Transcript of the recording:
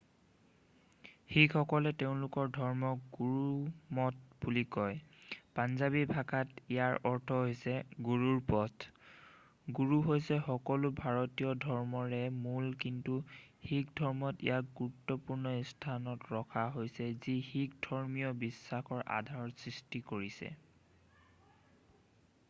"শিখসকলে তেওঁলোকৰ ধৰ্মক গুৰুমত বুলি কয় পাঞ্জাবী ভাষাত ইয়াৰ অৰ্থ হৈছে "গুৰুৰ পথ""। গুৰু হৈছে সকলো ভাৰতীয় ধৰ্মৰে মূল কিন্তু শিখ ধৰ্মত ইয়াক গুৰুত্বপূৰ্ণ স্থানত ৰখা হৈছে যি শিখ ধৰ্মীয় বিশ্বাসৰ আধাৰ সৃষ্টি কৰিছে।""